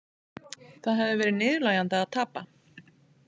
Það hefði verið niðurlægjandi að tapa